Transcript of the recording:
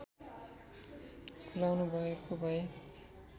खुलाउनुभएको भए